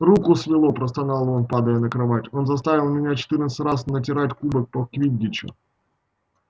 руку свело простонал он падая на кровать он заставил меня четырнадцать раз натирать кубок по квиддичу